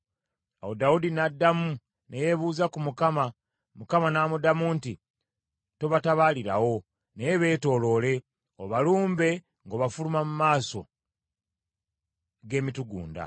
Awo Dawudi n’addamu ne yeebuuza ku Mukama , Mukama n’amuddamu nti, “Tobatabaalirawo, naye beetooloole, obalumbe ng’obafuluma mu maaso g’emitugunda.